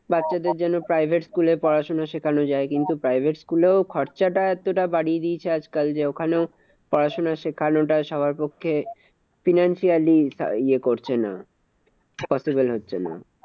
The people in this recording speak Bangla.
বাচ্চাদের যেন private school এ পড়াশোনা শেখানো যায়। কিন্তু private school এও খরচাটা এতটা বাড়িয়ে দিয়েছে আজকাল যে, ওখানেও পড়াশোনা শেখানোটা সবার পক্ষে financially এ করছে না possible হচ্ছে না।